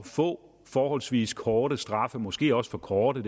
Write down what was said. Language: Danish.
få forholdsvis korte straffe måske også for korte